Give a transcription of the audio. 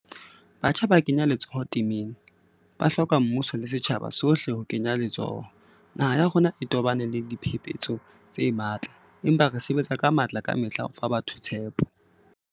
Batjha ba kenya letsoho temeng, ba hloka mmuso le setjhaba sohle ho kenya letsoho. Naha ya rona e tobane le diphephetso tse matla, empa re sebetsa ka matla kamehla ho fa batho tshepo.